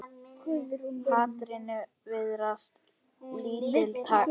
Hatrinu virðast lítil takmörk sett.